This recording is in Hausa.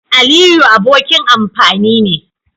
Aliyu abokin amfani ne.